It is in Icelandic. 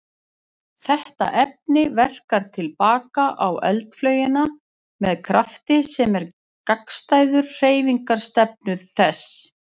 Þetta efni verkar til baka á eldflaugina með krafti sem er gagnstæður hreyfingarstefnu þess.